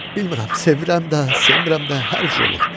Bilmərəm, sevirəm də, sevmirəm də, hər cür olur.